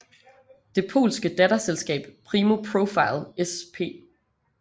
Det polske datterselskab Primo Profile Sp